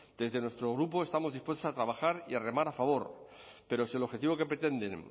desde nuestro grupo estamos dispuestos a trabajar y a remar a favor pero si el objetivo que pretenden